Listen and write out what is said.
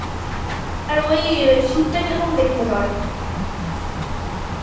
আর ওই sheet টা কিরকম দেখতে হয়